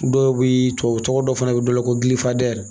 Dɔw bɛ tubabu tɔgɔ dɔ fana bɛ dɔ la ko